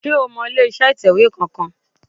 Sé o mọ ilé iṣẹ́ ìtẹ̀wé kan kan